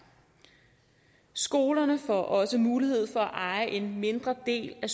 skolerne får også mulighed for at eje en mindre del af